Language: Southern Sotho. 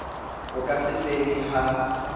bo ka se fele ha